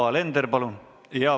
Yoko Alender, palun!